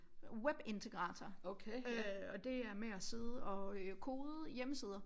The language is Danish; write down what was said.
Webintegrator øh og det er med at sidde og øh kode hjemmesider